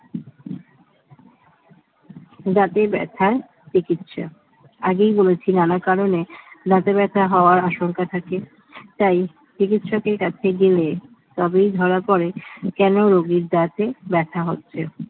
দাঁতে ব্যথার চিকিৎসা আগেই বলেছিলাম নানা কারণে দাঁতে ব্যথা হওয়ার আশঙ্কা থাকে তাই চিকিৎসকের কাছে গেলে তবেই ধরা পড়ে কেন রোগীর দাঁতে ব্যথা হচ্ছে